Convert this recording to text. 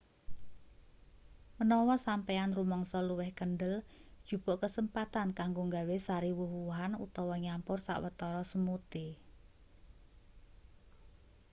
menawa sampeyan rumangsa luwih kendel jupuk kesempatan kanggo gawe sari wuh-wuhan utawa nyampur sawetara smoothie